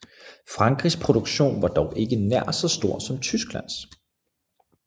Frankrigs produktion var dog ikke nær så stor som Tysklands